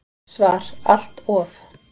SVAR Allt of.